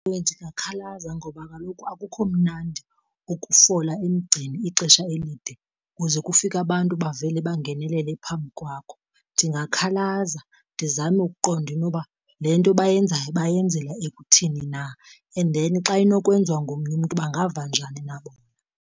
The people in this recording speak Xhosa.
Ewe ndingakhalaza ngoba kaloku akukho mnandi ukufola emgceni ixesha elide kuze kufike abantu bavele bangenelele phambi kwakho. Ndingakhalaza ndizame ukuqonda inoba le nto bayenzayo bayenzela ekuthini na and then xa inokwenziwa ngomnye umntu bangava njani na bona.